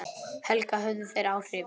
Helga: Höfðu þeir áhrif?